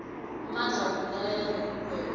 amandla wokulalela nokugweba